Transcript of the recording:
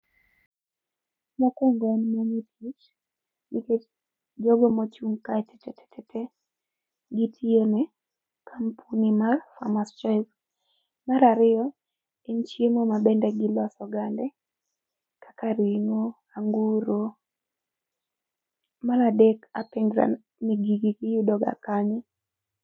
Mokuongo en mon e tich nikech jogo mochung kae tetetete gitiyo ne kampuni mar farmers choice. Mar ariyo en chiemo mabende giloso gande kaka ringo, anguro. Mar adek apenjra ni gigi giyudo ga kanye?